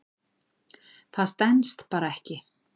Það stenst bara ekki.